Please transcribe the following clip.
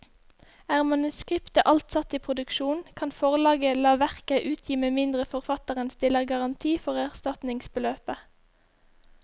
Er manuskriptet alt satt i produksjon, kan forlaget la verket utgi med mindre forfatteren stiller garanti for erstatningsbeløpet.